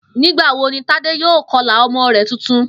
Nígbà wo ni Tádé yóò ko̩là o̩mo̩ rè̩ tuntun?